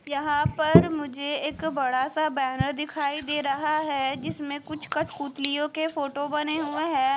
यहां पर मुझे एक बड़ा सा बैनर दिखाई दे रहा है जिसमें कुछ कठपुतलियों के फोटो बने हुए है।